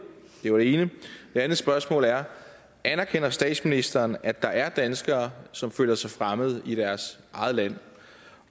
det var det ene det andet spørgsmål er anerkender statsministeren at der er danskere som føler sig fremmede i deres eget land